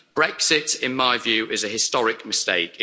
Brexit, in my view, is a historic mistake.